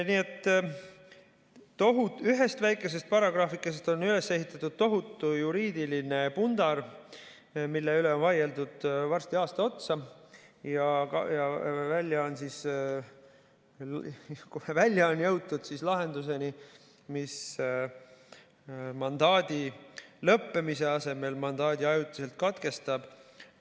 Nii et ühest väikesest paragrahvikesest on üles ehitatud tohutu juriidiline pundar, mille üle on vaieldud varsti aasta otsa ja on jõutud lahenduseni, mis mandaadi lõppemise asemel mandaadi ajutiselt katkestab.